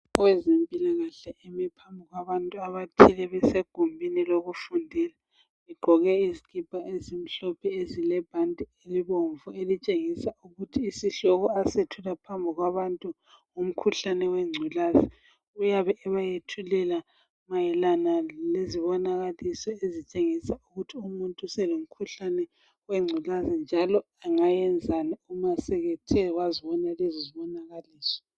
Owezempilakahle emi phambi kwabantu abathile. Besegumbini lokufundela. Begqoke izikipa ezimhlophe, ezilebhanti elibomvu. Elitshengisa ukuthi isihloko, asethula phambi kwabantu ngumkhuhlane wengculaza. Uyabe ebayethulela mayelana lezibonakaliso ezitshengisa ukuthi umuntu uselomkhuhlane wengculaza, njalo angayenzani nxa esethe wazibona lezo zibonakaliso.